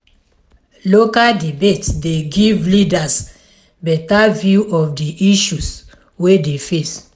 local debate dey give leaders better view of di issue wey dey face